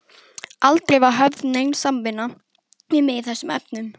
Aldrei var höfð nein samvinna við mig í þessum efnum.